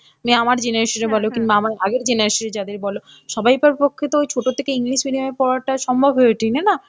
মানে আমার generation এ বলো কিংবা আমার আগের generation এ যাদের বলো সবাইকার পক্ষে তো ছোট থেকে English medium এ পড়া টা সম্ভব হয়ে ওঠেনি না,